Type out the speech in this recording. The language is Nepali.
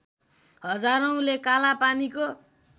हजारौँले कालापानीको